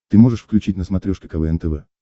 ты можешь включить на смотрешке квн тв